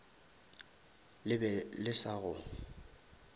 le be le sa go